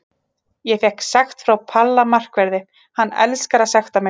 Ég fékk sekt frá Palla markverði, hann elskar að sekta mig.